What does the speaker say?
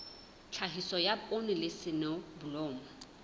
tlhahiso ya poone le soneblomo